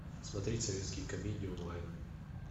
смотреть советские комедии онлайн